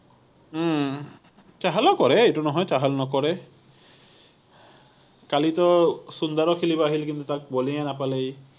উম ছেহেলেও কৰে, এইটো নহয় ছেহেল নকৰে কালিতো সুন্দৰো খেলিব আহিল কিন্তু তাক বলিং এই নাপালে ই